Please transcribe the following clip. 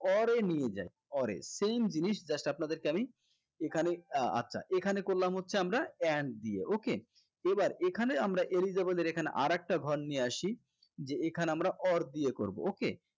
or এ নিয়ে যাই or এ same জিনিস just আপনাদেরকে আমি এখানে আহ আচ্ছা এখানে করলাম হচ্ছে আমরা and দিয়ে okay এবার এখানে আমরা eligible এর এখানে আরেকটা ঘর নিয়ে আসি যে এখানে আমরা or দিয়ে করবো okay